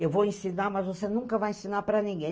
Eu vou ensinar, mas você nunca vai ensinar para ninguém.